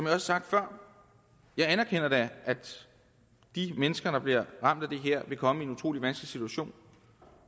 har sagt før jeg anerkender da at de mennesker der bliver ramt af det her vil komme i en utrolig vanskelig situation